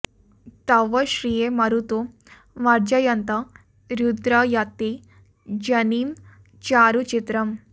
तव श्रिये मरुतो मर्जयन्त रुद्र यत्ते जनिम चारु चित्रम्